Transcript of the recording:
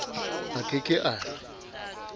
a ke ke a re